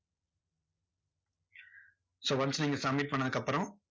so once நீங்க submit பண்ணதுக்கு அப்பறம்,